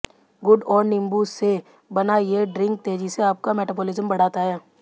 गुड़ और नींबू से बना ये ड्रिंक तेजी से आपका मेटाबॉलिज्म बढ़ाता है